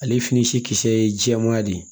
Ale fini si kisɛ ye jɛman de ye